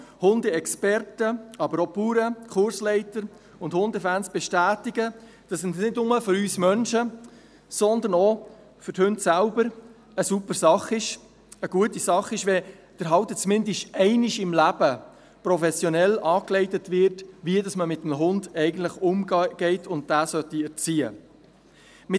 Hundeexperten, aber auch Bauern, Kursleiter und Hundefans bestätigen, dass es nicht nur für uns Menschen, sondern auch für die Hunde selber eine super Sache, eine gute Sache ist, wenn der Halter zumindest einmal im Leben professionell angeleitet wird, wie man eigentlich mit einem Hund umgehen und ihn erziehen sollte.